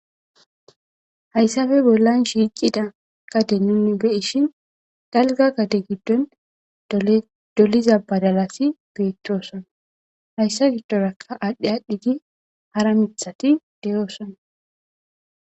Hayisape bollan shiqida gade nuni be'ishin daliga gade gidon doliza badalazi betosona haysa gidoraka adhidhidi hara mithati de'osona